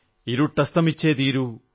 ഇരുട്ടസ്തമിച്ചേ തീരൂ